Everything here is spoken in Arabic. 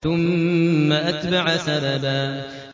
ثُمَّ أَتْبَعَ سَبَبًا